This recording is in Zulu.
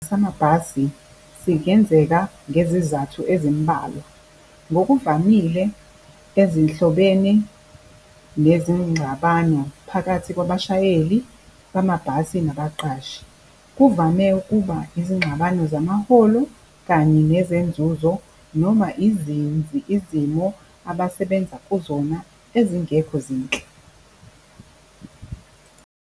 Isiteleka samabhasi singenzeka ngezizathu ezimbalwa ngokuvamile ezinhlobene nezingxabano phakathi kwabashayeli bamabhasi nabaqashi. Kuvame ukuba izingxabano zamaholo kanye nezenzuzo noma izimo abasebenza kuzona ezingekho zinhle.